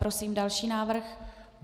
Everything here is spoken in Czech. Prosím další návrh.